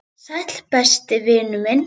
Sæll, besti vinur minn.